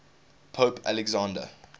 pope alexander